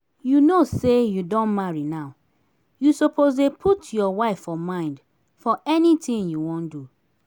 you know say you don marry now you suppose dey put your wife for mind for anything you wan do